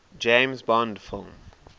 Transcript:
james bond film